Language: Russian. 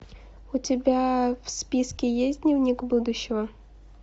у тебя в списке есть дневник будущего